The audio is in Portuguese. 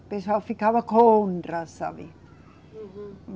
O pessoal ficava contra, sabe? Uhum.